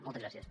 moltes gràcies